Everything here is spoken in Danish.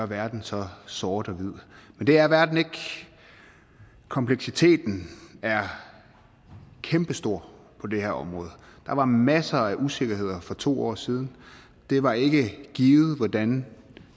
verden så sort hvid men det er verden ikke kompleksiteten er kæmpestor på det her område der var masser af usikkerheder for to år siden det var ikke givet hvordan